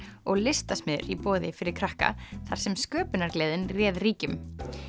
og listasmiðjur í boði fyrir krakka þar sem sköpunargleðin réð ríkjum